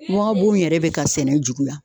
yɛrɛ bɛ ka sɛnɛ juguya